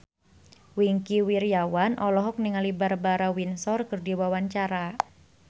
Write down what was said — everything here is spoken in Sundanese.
Wingky Wiryawan olohok ningali Barbara Windsor keur diwawancara